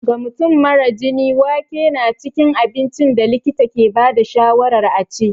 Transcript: Ga mutum mara jini, wake na cikin abincin da likita ke ba da shawarar a ci.